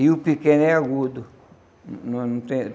E o pequeno é agudo.